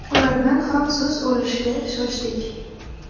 Ulardan ham so‘z olishga shoshdik.